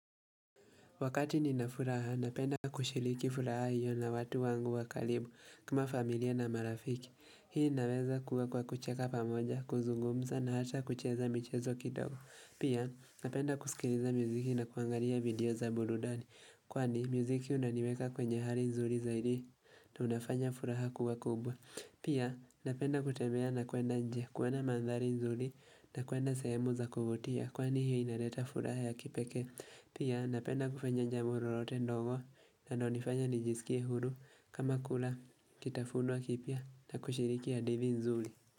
Wakati ninafuraha, napenda kushiliki furaha hiyo na watu wangu wa karibu kuma familia na marafiki. Hii naweza kuwa kwa kucheka pamoja, kuzungumza na hata kucheza michezo kidogo. Pia, napenda kusikiliza muziki na kuangalia video za burudani. Kwani, muziki unaniweka kwenye hali nzuri zaidi na unafanya furaha kuwa kubwa. Pia, napenda kutemea na kuenda nje, kuwena mandhali nzuri na kuenda sahemu za kuvutia. Kwani, hiyo inareta furaha ya kipeke. Pia napenda kufanya jamurote ndogo na donifanya nijisikie hudu kama kula kitafunuwa kipia na kushiriki ya divi nzuli.